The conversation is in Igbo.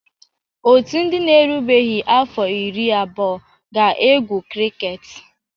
Otu ndị na-erubeghị afọ iri abụọ ga-egwu kriket.